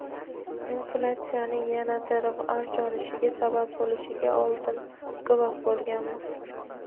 inflyatsiyaning yanada avj olishiga sabab bo‘lishiga oldin guvoh bo‘lganmiz.